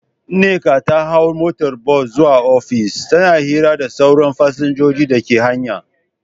Nneka ta hau motar bas zuwa ofis, tana hira da sauran fasinjojin dake hanya.